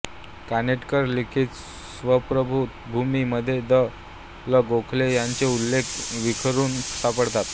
कानेटकर लिखित स्वप्नभूमि मध्ये द ल गोखले ह्यांचे उल्लेख विखरून सापडतात